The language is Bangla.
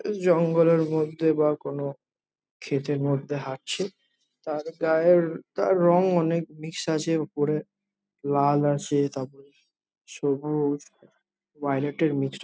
এ জঙ্গলের মধ্যে বা কোনো ক্ষেতের মধ্যে হাটছে। তার গায়ে তার রং অনেক নিঃশ্বাসের উপরে। লাল আছে তারপর সবুজ। ভায়লেট এর মিক্সচার ।